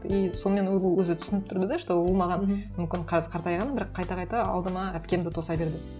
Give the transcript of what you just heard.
и сонымен өзі түсініп тұрды да что ол маған мүмкін қазір қартайған бірақ қайта қайта алдыма әпкемді тоса берді